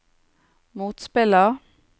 motspiller